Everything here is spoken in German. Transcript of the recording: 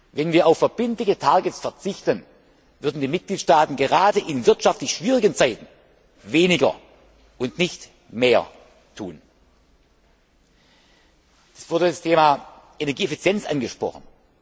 Wenn wir auf verbindliche Ziele verzichten, würden die Mitgliedstaaten gerade in wirtschaftlich schwierigen Zeiten weniger und nichts mehr tun. Es wurde das Thema Energieeffizienz angesprochen.